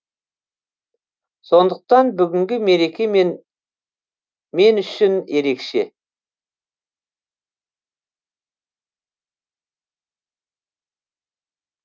сондықтан бүгінгі мереке мен үшін ерекше